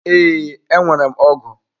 Ee, enwere m ọgụ.